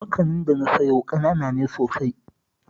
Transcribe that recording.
Makanin da na siyo ƙanana ne sosai